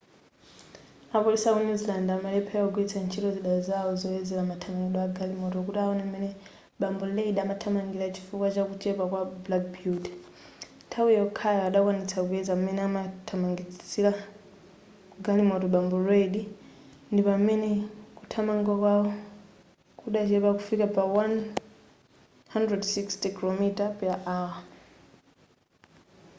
apolisi aku new zealand amalephera kugwiritsa ntchito zida zawo zoyezera mathamangidwe agalimoto kuti awone m'mene bambo reid amathamangira chifukwa chakuchepa kwa black beauty nthawi yokhayo adakwanitsa kuyeza m'mene amathamangisira galimoto bambo reid ndipamene kuthamanga kwawo kudachepa kufika pa 160km /h